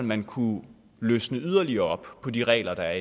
man kunne løsne yderligere op på de regler der